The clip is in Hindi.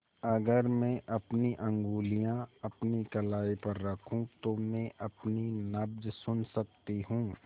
अगर मैं अपनी उंगलियाँ अपनी कलाई पर रखूँ तो मैं अपनी नब्ज़ सुन सकती हूँ